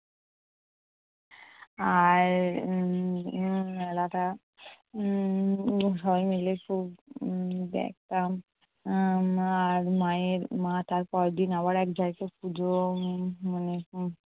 আর um মেলাটা um সবাই মিলে খুব দেখতাম। আমার মায়ের মা তারপরের দিন আবার এক জায়গায় পুজো উম মানে